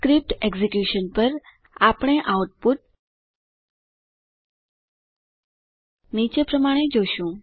script execution પર આપણે output નીચે પ્રમાણે જોશું